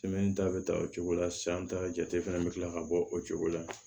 ta bɛ ta o cogo la sisan an ta jate fɛnɛ bɛ kila ka bɔ o cogo la